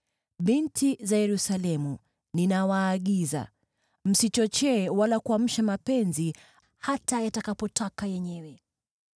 Binti za Yerusalemu, ninawaagiza: msichochee wala kuamsha mapenzi hata yatakapotaka yenyewe.